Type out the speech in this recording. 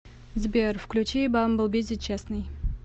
сбер включи бамбл бизи честный